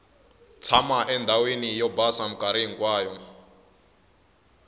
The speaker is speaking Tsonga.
tshama endhawini yo basa minkarhi hinkwayo